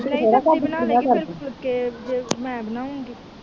ਫੁਲਕੇ ਜੇ ਮੈਂ ਬਨਾਉਗੀ